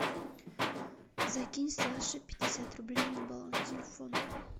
закинь саше пятьдесят рублей на баланс телефона